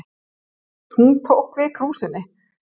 Hún tók við krúsinni.